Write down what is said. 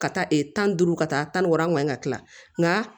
Ka taa tan ni duuru ka taa tan ni wɔɔrɔ ŋɔnɔ in ka tila nka